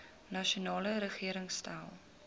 nasionale regering stel